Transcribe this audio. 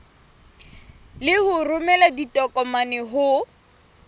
le ho romela ditokomane ho